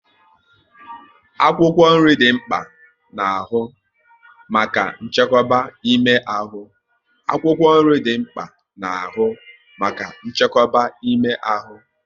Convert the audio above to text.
Akwụkwọ nri dị mkpa n'ahụ maka nchekwa ime ahụ